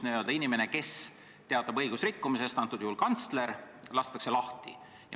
Inimene, kes teatab õigusrikkumisest, praegusel juhul kantsler, lastakse lahti.